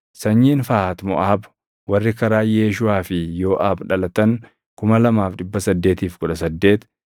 sanyiin Fahat Moʼaab warri karaa Yeeshuʼaa fi Yooʼaab dhalatan 2,818